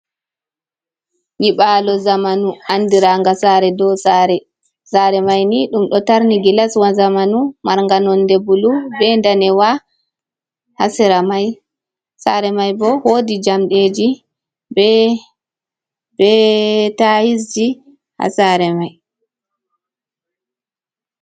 Nyiɓalo zamanu andiraga sare dow. Sare mai ni ɗum ɗo tarni gilaswa zamanu marnga nonde bulu be danewa ha sera mai sare mai bo wodi jamɗeji be tayisji ha sare mai.